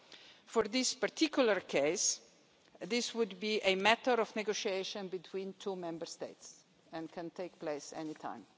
In this particular case, this would be a matter of negotiation between two Member States and can take place anytime.